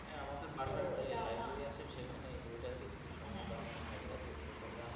আমাদের বাসায় এই বইটা সেখানে এই বইটা দেখতেই আমার ভাইয়া পড়েছে তবে আমার,